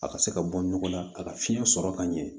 A ka se ka bɔ ɲɔgɔn na ka fiɲɛ sɔrɔ ka ɲɛ